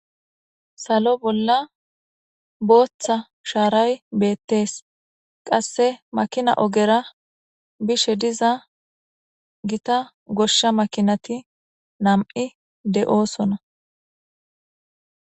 Salo bolla booththa shaaray beettees qasse makina ogera bishe diza gita goshsha makinati nam'i de'oosona.